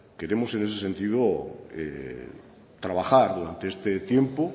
queremos en ese sentido trabajar durante este tiempo